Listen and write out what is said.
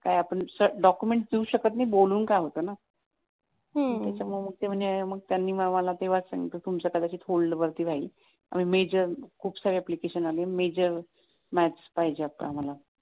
काय आपण डॉक्युमेंट्स देऊ शकत नाही बोलून काय होत ना मग त्याच्यामुळे त्यांनी मला तेव्हाच सांगितलं तुमचं कदाचित होल्डवरती राहील मेजर खूप साऱ्या आल्या ना मेजर मॅथ्स पाहिजे आता आम्हाला